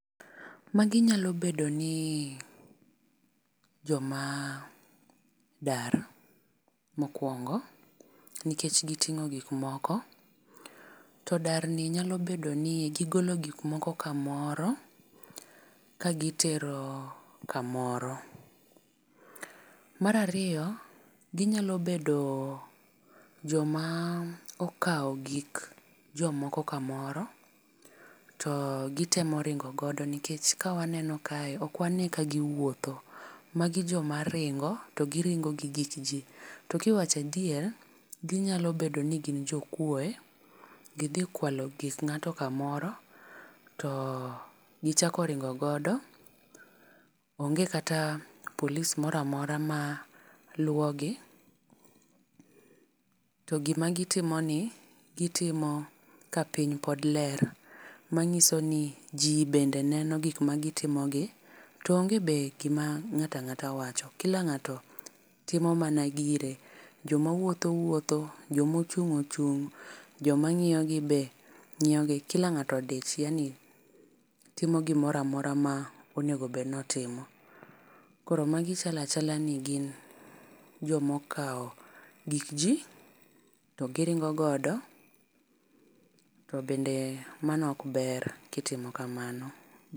Ma gi nyalo bedo ni jo ma dar, mokuongo nikech gi ting'o gik moko , to dar ni nyalo bedo ni gi golo gik moko kamoro ka gi tero kamoro. Mar ariyo gi nyalo bedo jo ma okawo gik jo moko ka moro pod gi temo ring'o godo nikech ka waneno kae ok wa ne ka gi wuotho. Magi joma ringo to gi ting'o gi gik ji. To ka iwacho adier gi nyalo bedo ni gin jo kuoe gi dhi kwalo gik ng'ato ka moro to gi chako ringo godo, onge kata polis moro amora ma luwo gi to gi ma gi timo ni gi timo ka piny pod ler ma ng'iso ni ji bende neno gik ma gi timo gi to onge be gi ma ng'ato ang'ata wach kila ng'ato timo mana gire, jo ma wuotho wuotho , jo ma ochung ochung, jo ma ngiyo be ngiyo gi kila ng'ato odich yaani timo gi moro amora ma onego bed ni otimo. Koro magi chalo chalo ni gin jo ma okwalo gik ji to gi ringo godo to bende mano ok ber ki itimo kamano.